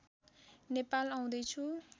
नेपाल आउँदै छु